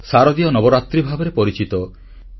ଏହା ଶାରଦୀୟ ନବରାତ୍ରି ଭାବରେ ପରିଚିତ